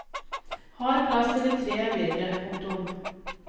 Hard plast eller tre er bedre. punktum